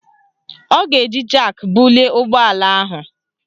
Ọ ga-eji jak bulie ụgbọala ahụ